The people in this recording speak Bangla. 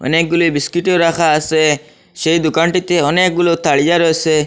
অনেকগুলি বিস্কিটও রাখা আসে সেই দুকানটিতে অনেকগুলো তাড়িয়া রয়েসে ।